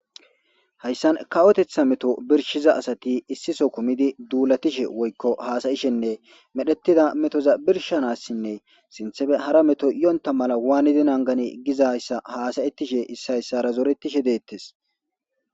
hayssan kawotetha meto birshiza asati issiso kumidi duulatishe woykko haasayishenne medhettida metoza birshanassinne sinthefe hara meto iyonta mala waanidi nangani gizayssa haasayettishe issiyssara zoretishe deettes